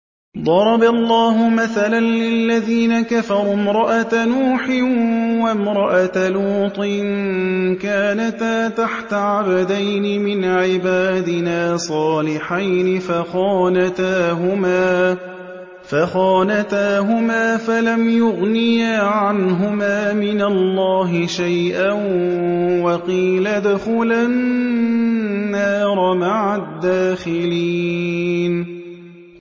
ضَرَبَ اللَّهُ مَثَلًا لِّلَّذِينَ كَفَرُوا امْرَأَتَ نُوحٍ وَامْرَأَتَ لُوطٍ ۖ كَانَتَا تَحْتَ عَبْدَيْنِ مِنْ عِبَادِنَا صَالِحَيْنِ فَخَانَتَاهُمَا فَلَمْ يُغْنِيَا عَنْهُمَا مِنَ اللَّهِ شَيْئًا وَقِيلَ ادْخُلَا النَّارَ مَعَ الدَّاخِلِينَ